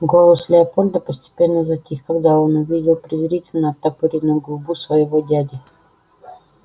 голос леопольда постепенно затих когда он увидел презрительно оттопыренную губу своего дяди